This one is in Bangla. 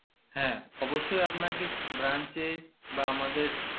হ্যা অবশ্যই আপনাকে branch এ বা আমাদের